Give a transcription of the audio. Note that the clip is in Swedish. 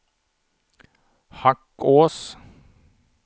Hackås